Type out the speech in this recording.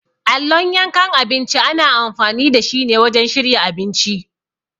Allon yankan abinci ana amfani dashi ne wajen shirya abinci.